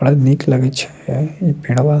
बड़ा निक लगे छै इ पेड़ बा।